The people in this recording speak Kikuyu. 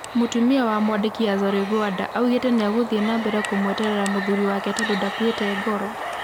Mũtumia wa mwandĩkĩ Azory Gwanda augite niegũthie nambere kũmweterera mũthûri wake tandũ ndakũite ngoro.